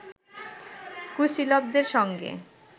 কুশীলবদের সঙ্গে